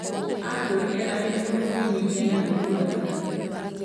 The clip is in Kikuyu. Aakũrire arĩ mũndũ mwĩnyihia na mũigua tha.